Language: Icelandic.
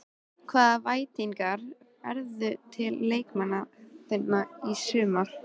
Hvaða væntingar berðu til leikmanna þinna í sumar?